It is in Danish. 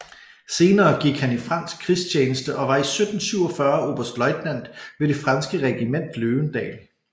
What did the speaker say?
Senere gik han i fransk krigstjeneste og var 1747 oberstløjtnant ved det franske regiment Løvendal